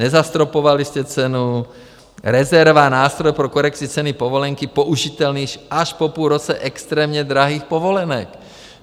Nezastropovali jste cenu, rezerva - nástroj pro korekci ceny povolenky použitelný až po půl roce extrémně drahých povolenek.